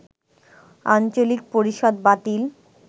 আঞ্চলিক পরিষদ বাতিল